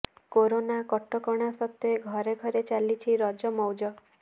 corona କଟକଣା ସତ୍ତ୍ୱେ ଘରେ ଘରେ ଚାଲିଛି ରଜ ମଉଜ